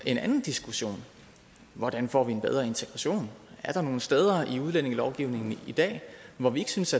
en anden diskussion hvordan får vi en bedre integration er der nogen steder i udlændingelovgivningen i dag hvor vi ikke synes